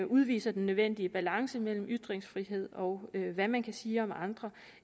udviser den nødvendige balance mellem ytringsfrihed og hvad man kan sige om andre